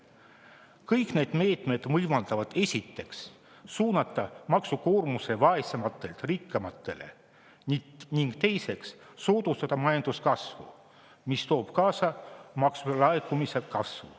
Kõik need meetmed võimaldavad, esiteks, suunata maksukoormuse vaesematelt rikkamatele, ning teiseks, soodustada majanduskasvu, mis toob kaasa maksulaekumise kasvu.